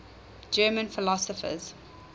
german philosophers